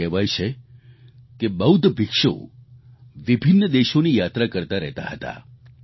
એવું કહેવાય છે કે બૌદ્ધ ભિક્ષુ વિભિન્ન દેશોની યાત્રા કરતા રહેતા હતા